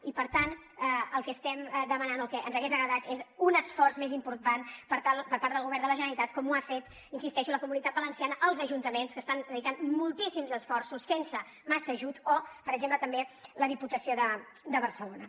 i per tant el que estem demanant o el que ens hagués agradat és un esforç més important per part del govern de la generalitat com ho han fet hi insisteixo la comunitat valenciana els ajuntaments que hi estan dedicant moltíssims esforços sense massa ajut o per exemple també la diputació de barcelona